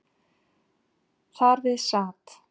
Þar við sat